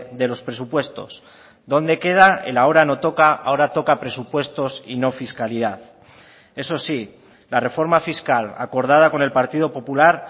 de los presupuestos dónde queda el ahora no toca ahora toca presupuestos y no fiscalidad eso sí la reforma fiscal acordada con el partido popular